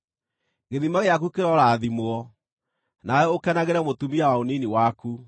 Gĩthima gĩaku kĩrorathimwo, nawe ũkenagĩre mũtumia wa ũnini waku.